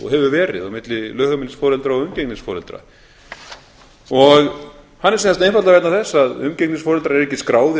og hefur verið á milli lögheimilisforeldra og umgengnisforeldra hann er sem sagt einfaldlega vegna þess að umgengnisforeldrar eru ekki skráðir